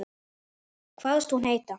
Kvaðst hún heita